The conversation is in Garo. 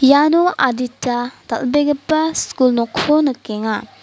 iano adita dal·begipa skul nokko nikenga.